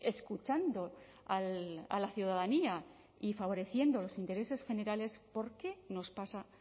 escuchando a la ciudadanía y favoreciendo los intereses generales por qué nos pasa